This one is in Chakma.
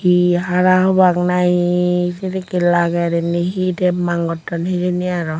he harahobak nahi sedekke lager inni he temmang gotton hejeni aro.